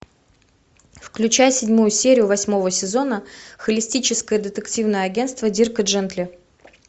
включай седьмую серию восьмого сезона холистическое детективное агентство дирка джентли